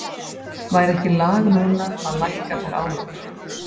Væri ekki lag núna að lækka þær álögur?